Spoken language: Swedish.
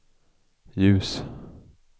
ljus